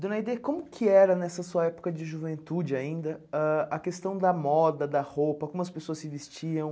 Dona Aide, como que era nessa sua época de juventude ainda ãh a questão da moda, da roupa, como as pessoas se vestiam?